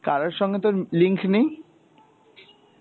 কারোর সঙ্গে তোর link নেই?